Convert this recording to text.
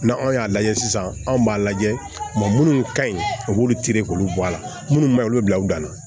N'anw y'a lajɛ sisan anw b'a lajɛ munnu ka ɲi u b'olu tere k'olu bɔ a la munnu ma olu bila u dan na